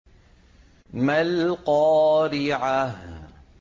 مَا الْقَارِعَةُ